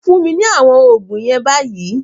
Fún mi ní àwọn oògùn yen bayi